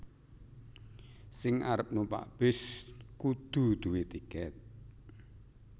Sing arep numpak bis kudu due tiket